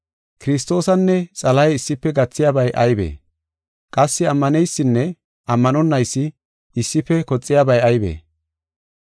Kiristoosanne Xalahe issife gathiyabay aybee? Qassi ammaneysinne ammanonaysi issife koxiyabay aybee?